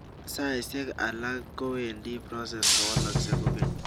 saishek akala kowendi process kowoloksei kokeny